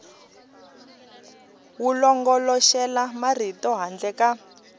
wu longoloxela marito handle ka